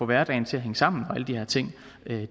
hverdagen skal hænge sammen og alle de her ting